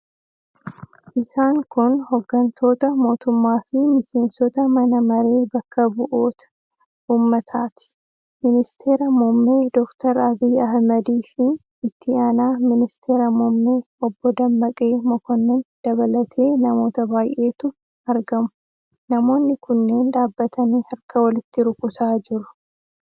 Isaan kun hooggantoota mootummaafi miseensota Mana Maree Bakka Bu'oota Uummataati. Ministeera muummee Dr. Abiy Ahmadiifi itti aanaa ministeera muummee Obbo Dammaqee Mokkonnin dabalatee namoota baay'eetu argamu. Namoonni kunneen dhaabbatanii harka walitti rukutaa jiru.